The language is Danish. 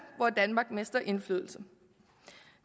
hvor danmark mister indflydelse